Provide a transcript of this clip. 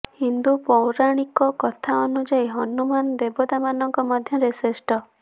ହିନ୍ଦୁ ପୌରାଣିକ କଥା ଅନୁଯାୟୀ ହନୁମାନ ଦେବତାମାନଙ୍କ ମଧ୍ୟରେ ଶ୍ରେଷ୍ଟ